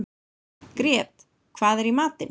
Grét, hvað er í matinn?